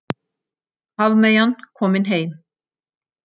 Hafmeyjan komin heim